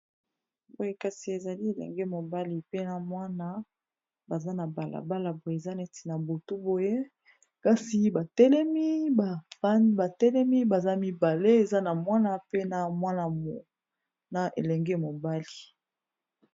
Boye kasi ezali elenge mobali pe na mwana baza na balabala boye eza neti na butu boye kasi batelemi baan batelemi baza mibale eza na mwana pe na mwanana elenge mobali.